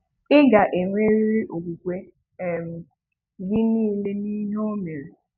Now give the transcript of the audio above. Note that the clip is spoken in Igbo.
Ị ga-enwerịrị okwukwe um gị niile n'ihe o mere.